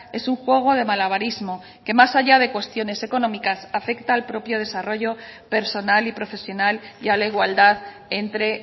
es un juego de malabarismo que más allá de cuestiones económicas afecta al propio desarrollo personal y profesional y a la igualdad entre